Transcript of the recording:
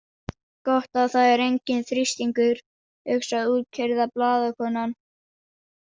Gott að það er enginn þrýstingur, hugsar útkeyrða blaðakonan.